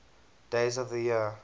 days of the year